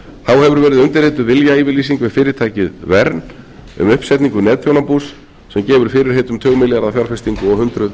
verið undirrituð viljayfirlýsing við fyrirtækið enn um uppsetningu netþjónabús sem gefur fyrirheit um tugmilljarða fjárfestingu og hundruð